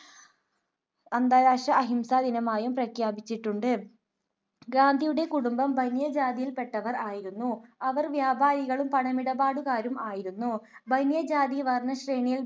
അന്താരാഷ്ട്ര അഹിംസാ ദിനമായും പ്രഖ്യാപിചിട്ടുണ്ട്. ഗാന്ധിയുടെ കുടുംബം ബനിയ ജാതിയിൽ പെട്ടവർ ആയിരുന്നു. അവർ വ്യാപാരികളും പണമിടപാടുകാരും ആയിരുന്നു. ബനിയ ജാതി വർണശ്രേണിയിൽ